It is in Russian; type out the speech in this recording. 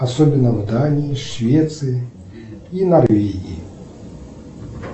особенно в дании швеции и норвегии